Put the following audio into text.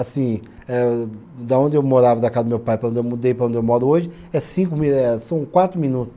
Assim, eh da onde eu morava da casa do meu pai para onde eu mudei, para onde eu moro hoje, é cinco mi eh, são quatro minutos.